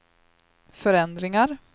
förändringar